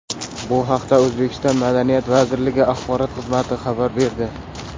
Bu haqda O‘zbekiston Madaniyat vazirligi axborot xizmati xabar berdi.